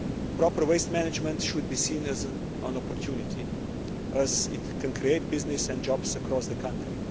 Proper waste management should be seen as an opportunity as it can create business and jobs across the country.